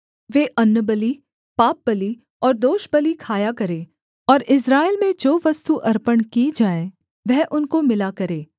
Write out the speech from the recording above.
वे अन्नबलि पापबलि और दोषबलि खाया करें और इस्राएल में जो वस्तु अर्पण की जाए वह उनको मिला करे